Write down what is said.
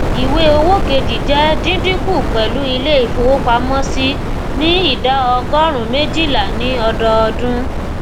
ìwé owó kejì jẹ díndínkù pẹlú ilé ìfowópamọsí ní idà ọgórùnún méjìlá ní ọdọọdún